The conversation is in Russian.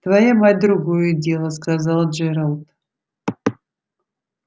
твоя мать другое дело сказал джералд